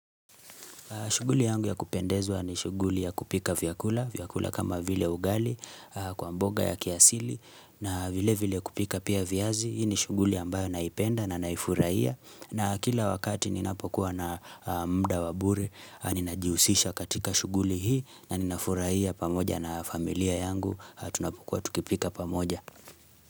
Shughuli yangu ya kupendezwa ni shughuli ya kupika vyakula, vyakula kama vile ugali, kwa mboga ya kiasili, na vile vile kupika pia viazi, hii ni shuguli ambayo naipenda na naifurahia. Na kila wakati ninapokuwa na muda wa bure, ninajihusisha katika shughuli hii, na ninafurahia pamoja na familia yangu, tunapokuwa tukipika pamoja.